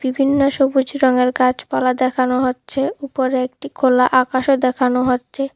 ভিন্ন সবুজ রঙের গাছপালা দেখানো হচ্ছে উপরে একটি খোলা আকাশও দেখানো হচ্ছে।